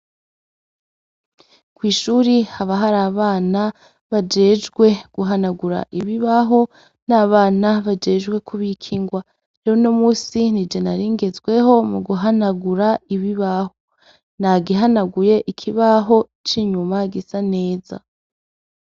Kw'ishuri haba hari abana bajejwe guhanagura ibibabho, n'abana bajejwe kubika ingwa. Uno musi nije nari ngezweho mu guhanagura ibibaho. Nagihanaguye ikibaho c'inyuma gisa neza.